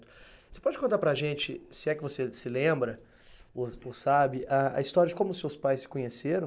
Você pode contar para a gente, se é que você se lembra, ou ou sabe a, a história de como seus pais se conheceram?